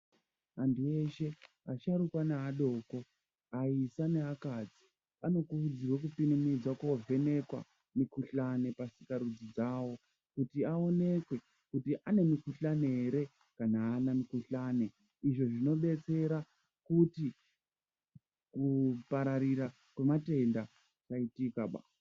Andu eshe asharukwa na adoko ayisa nevakadzi vanokurudzirwa kuti kukurumidza kovhenekwa mikhuhlane pasikarudzi dzavo kuti aonekwe kuti anemikhuhlane here kana hana mikhuhlane izvo zvinobetsera kuti kupararira kwema tenda kusaitika ba